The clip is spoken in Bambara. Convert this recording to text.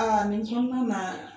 nin